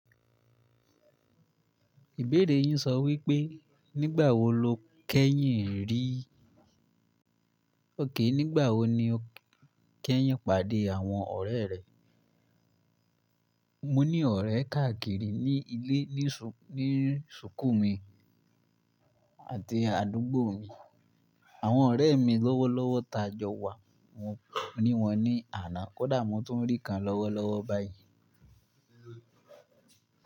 Ìbéèrè yín sọ wípé nígbà wo lo kẹ́yìn rí. Ókè, nígbà wo ni o kẹ́yìn pàdé àwọn ọ̀rẹ́ rẹ? Mo ní ọ̀rẹ́ káàkiri ní ilé, ní sùkú mi àti àdúgbò mi. Àwọn ọ̀rẹ́ mi lọ́wọ́lọ́wọ́ tajọ wa. Mo ní wọn ní àná, kódà mo tó n rí kan lọ́wọ́lọ́wọ́ báyìí.